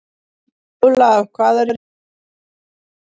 Ólaf, hvað er jörðin stór?